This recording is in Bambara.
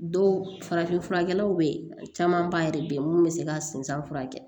Dɔw farafin furakɛlaw bɛ caman ba yɛrɛ be yen mun bɛ se ka sinsin furakɛ